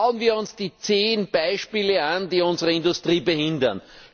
Schauen wir uns die zehn Beispiele an, die unsere Industrie behindern!